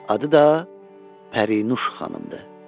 Adı da Pərinüş xanımdır.